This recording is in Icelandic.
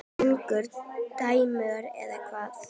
Strangur dómur eða hvað?